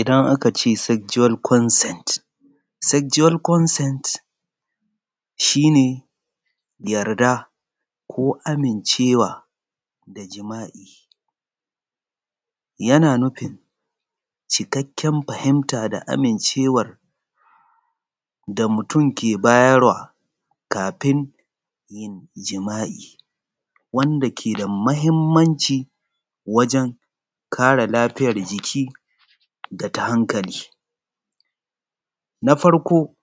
Idan aka ce sexual consent, sexual consent shi ne yarda ko amincewa da da jima'i yana nudi cikkaken amincewar da mutum yake bayarwa kafin yin jima'i wanda ke da mahimmanci wajen kare lafiyar jiki da ta hankali. Na farko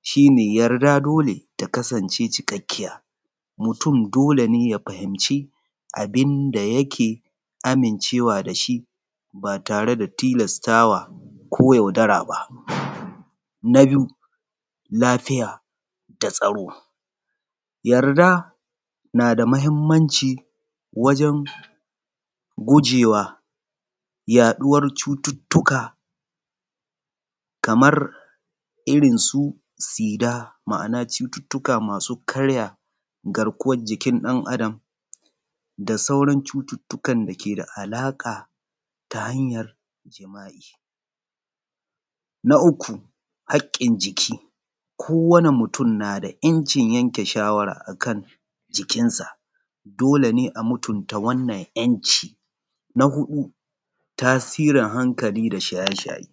shi ne yarda dole ta kasance cikakkiya, mytum dole ya fahimci abin da yake amicewa da shi ba tare da tilastawa ko yaudara ba. Na biyu lafiya da tsaro, yarda na da mahimmanci wajen gujewa yaɗuwar cututtuka kamar irinsu sida, ma'ana irinsu cututtuka masu karya garkuwar jikin ɗan Adam da sauran cututtukan dake da alaƙa da cututtukan jima'i. Na uku haƙƙin jiki kowanne mutum na da 'yanke shawara a jikinsa dole ne a mutumta wannan 'yanci. Na huɗu tasirin hankali da shaye-shaye.